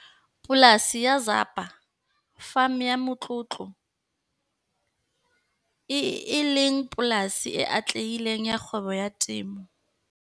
Polasi ya Zapa Farm ya motlotlo, e leng polasi e atlehileng ya kgwebo ya temo.